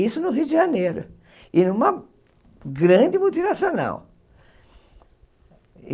Isso no Rio de Janeiro, e numa grande multinacional.